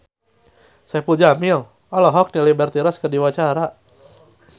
Saipul Jamil olohok ningali Liberty Ross keur diwawancara